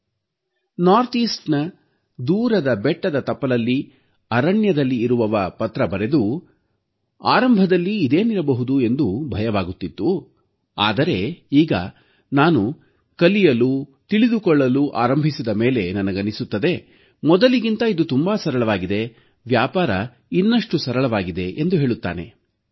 ಈಶಾನ್ಯ ಭಾಗದ ದೂರದ ಬೆಟ್ಟದ ತಪ್ಪಲಲ್ಲಿ ಅರಣ್ಯದಲ್ಲಿರುವವ ಪತ್ರ ಬರೆದು ಆರಂಭದಲ್ಲಿ ಇದೇನಿರಬಹುದು ಎಂದು ಭಯವಾಗುತ್ತಿತ್ತು ಆದರೆ ಈಗ ನಾನು ಕಲಿಯಲು ತಿಳಿದುಕೊಳ್ಳಲು ಆರಂಭಿಸಿದ ಮೇಲೆ ನನಗನ್ನಿಸುತ್ತದೆ ಮೊದಲಿಗಿಂತ ಇದು ತುಂಬಾ ಸರಳವಾಗಿದೆ ವ್ಯಾಪಾರ ಇನ್ನಷ್ಟು ಸರಳವಾಗಿದೆ ಎಂದು ಹೇಳುತ್ತಾನೆ